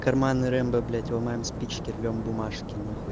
карманный рэмбо блять ломаем спички рвём бумажки нахуй